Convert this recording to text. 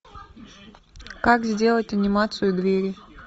как сделать анимацию двери